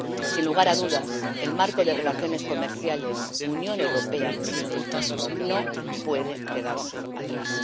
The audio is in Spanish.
Sin lugar a dudas, el marco de relaciones comerciales Unión Europea Chile no puede quedarse atrás.